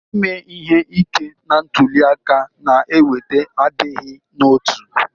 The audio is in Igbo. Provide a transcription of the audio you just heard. Ime ihe ike na ntuli aka na-eweta adịghị n'otu